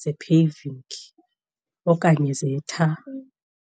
ze-paving okanye zetha.